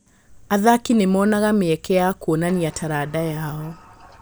Athaki nĩ monaga mĩeke ya kuonania taranda yao.